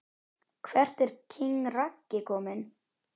Hvert er king Raggi komin??